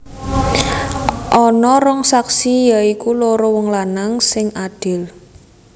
Ana rong saksi ya iku loro wong lanang sing adil